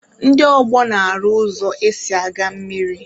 Ndị ọgbọ na-arụ ụzọ esi aga mmiri.